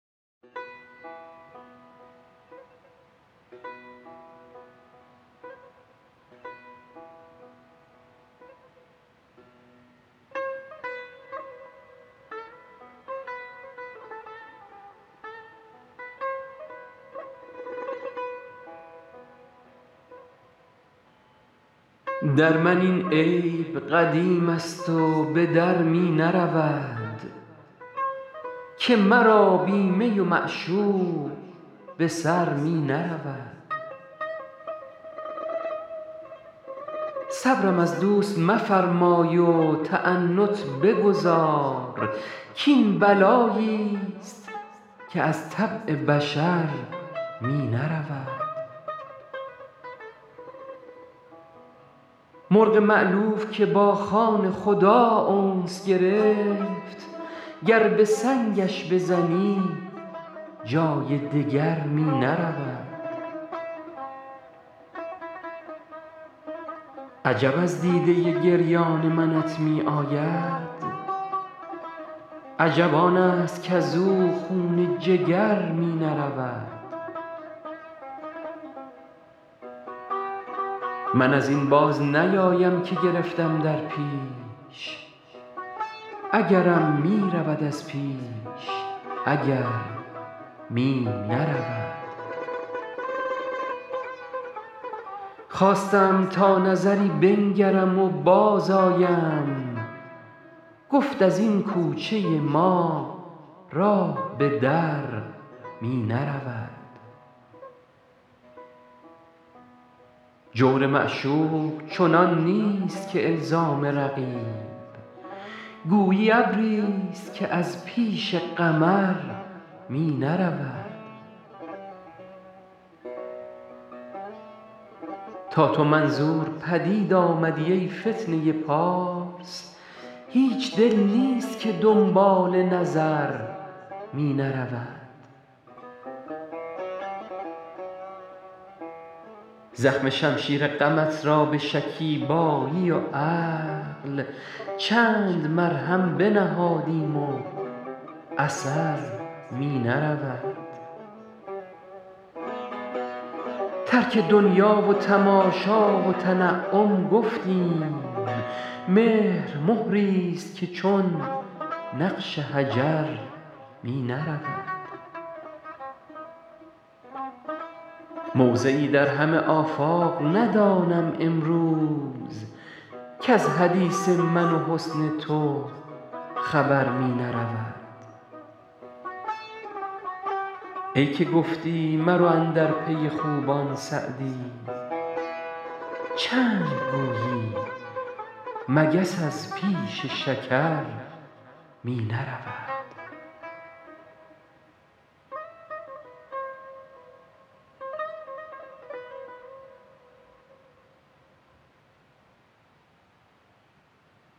در من این عیب قدیم است و به در می نرود که مرا بی می و معشوق به سر می نرود صبرم از دوست مفرمای و تعنت بگذار کاین بلایی ست که از طبع بشر می نرود مرغ مألوف که با خانه خدا انس گرفت گر به سنگش بزنی جای دگر می نرود عجب از دیده گریان منت می آید عجب آن است کز او خون جگر می نرود من از این باز نیایم که گرفتم در پیش اگرم می رود از پیش اگر می نرود خواستم تا نظری بنگرم و بازآیم گفت از این کوچه ما راه به در می نرود جور معشوق چنان نیست که الزام رقیب گویی ابری ست که از پیش قمر می نرود تا تو منظور پدید آمدی ای فتنه پارس هیچ دل نیست که دنبال نظر می نرود زخم شمشیر غمت را به شکیبایی و عقل چند مرهم بنهادیم و اثر می نرود ترک دنیا و تماشا و تنعم گفتیم مهر مهری ست که چون نقش حجر می نرود موضعی در همه آفاق ندانم امروز کز حدیث من و حسن تو خبر می نرود ای که گفتی مرو اندر پی خوبان سعدی چند گویی مگس از پیش شکر می نرود